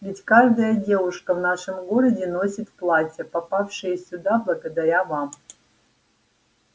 ведь каждая девушка в нашем городе носит платья попавшие сюда благодаря вам